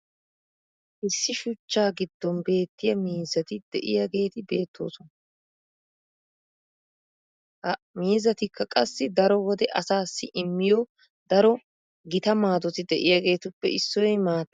issi shuchchaa giddon beettiya miizzati diyaageti beettoosona. ha miizzatikka qassi daro wode asaassi immiyo daro gita maadoti diyaageetuppe issoy maattaa.